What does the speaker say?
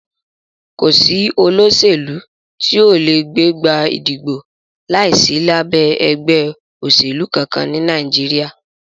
Kò sí olóṣèlú tí o lè gbégbá ìdìbò láìsí lábẹ́ ẹgbẹ́ òṣèlú kankan ní Nàìjíríà.